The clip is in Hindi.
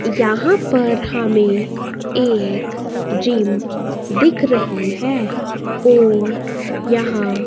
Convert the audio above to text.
यहां पर हमें एक जिम दिख रही है और यहां--